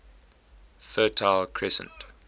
fertile crescent